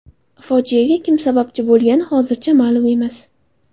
Fojiaga kim sababchi bo‘lgani hozircha ma’lum emas.